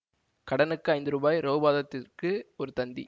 கடனுக்கு ஐந்து ரூபாய் ரௌபாதத்திற்கு ஒரு தந்தி